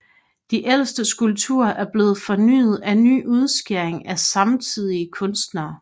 De ældste skulpturer er blevet fornyet af nye udskæringer af samtidige kunstnere